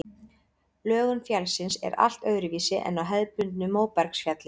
Lögun fjallsins er allt öðruvísi en á hefðbundnu móbergsfjalli.